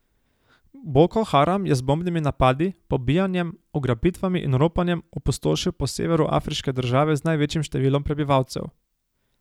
Boko Haram je z bombnimi napadi, pobijanjem, ugrabitvami in ropanjem opustošil po severu afriške države z največjim številom prebivalcev.